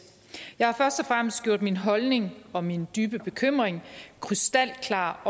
jeg har først og fremmest gjort min holdning og min dybe bekymring krystalklar